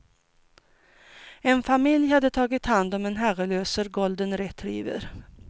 En familj hade tagit hand om en herrelös golden retriever.